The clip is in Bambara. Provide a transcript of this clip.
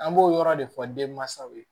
An b'o yɔrɔ de fɔ denmansaw ye